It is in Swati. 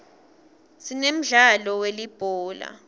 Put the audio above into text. sinemdlalo we uulibhola